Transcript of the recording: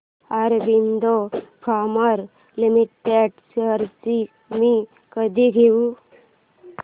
Aurobindo pharma limited shares मी कधी घेऊ